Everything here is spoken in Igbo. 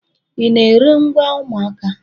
Ị na-ere ngwa ụmụaka?